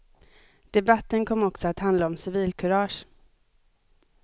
Debatten kom också att handla om civilkurage.